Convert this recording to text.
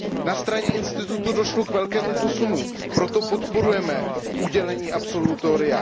Na straně institutu došlo k velkému posunu, proto podporujeme udělení absolutoria.